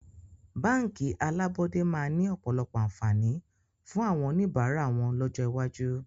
Báńkì alábọ́dẹ́ máa ni ọ̀pọ̀lọpọ̀ àǹfààní fún àwọn oníbàárà wọn lọ́jọ́ iwájú